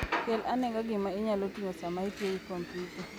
Kel anega gima inyalo ting'o sama itiyo gi kompyuta.